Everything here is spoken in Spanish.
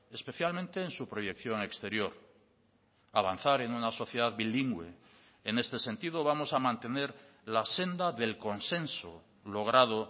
especialmente en su proyección exterior avanzar en una sociedad bilingüe en este sentido vamos a mantener la senda del consenso logrado